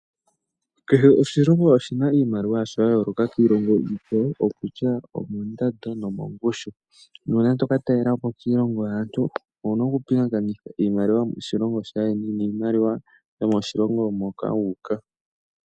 Kehe oshilongo oshina iimaliwa yasho ya yooloka kiilongo iikwawo okutya omo ndando nomo ngushu. Nuuna toka talelapo kiilongo yaantu owuna oku pingakanitha iimaliwa yomo shilongo shaayeni niimaliwa yo moshilongo moka wuuka.